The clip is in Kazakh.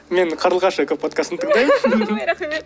мен қарлығаш экоподкастын тыңдаймын рахмет